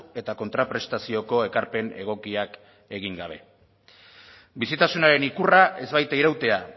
eta kontraprestazioko ekarpen egokiak egin gabe bizitasunaren ikurra ez baita irautea